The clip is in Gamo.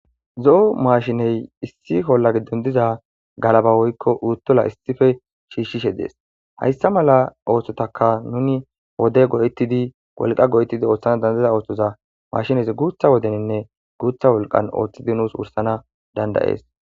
Zo'o mashine issi olla gidon diza galaba woyko utula issippe shishishe dees haysa mala oosotaka nuni wode go'etidi wolwa go'etidi oothana danda'iza oothoza maashinezi guutha wodeninne guutha wolqan oothidi nus wursana danda'es.